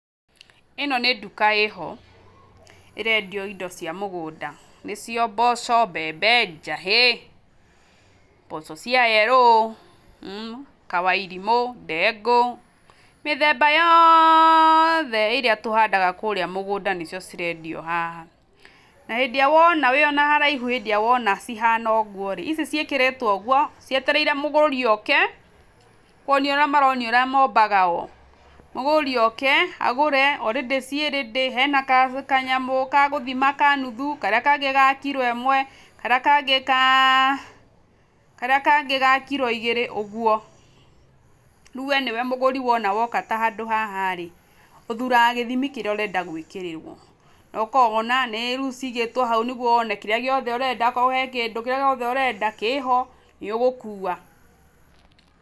ĩno nĩ nduka ĩho ĩrendio indo cia mũgũnda nĩcio mboco, mbembe, njahĩ, mboco cia yellow, Kawairimũ, ndengũ, mĩthemba yothe ĩrĩa tũhandaga kũrĩa mũgũnda nĩcio cirendio haha, na hĩndĩ ĩrĩa wona wĩ haraihu hĩndĩ ĩrĩa wona cihana ũguo rĩ, ici ciĩkĩrĩtwo ũguo cietereire mũgũri oke, nĩ kuonia maronia ũrĩa mombaga o, mũgũri oke agũre [cs already ciĩ ready hena kanyamũ ga gũthima ka nuthu, karĩa kangĩ ga kiro ĩmwe, karĩa kangĩ ga kiro igĩrĩ, ũguo. Rĩu we nĩwe mũgũri wona woka ta handũ haha rĩ, ũthuraga gĩthimi kĩrĩa urenda gwĩkĩrĩrwo ũkona rĩu cigĩtwo hau nĩguo wone kĩrĩa gĩothe ũrenda akorwo he kĩndũ kĩrĩa gĩothe ũrenda kĩho, nĩ ũgũkua.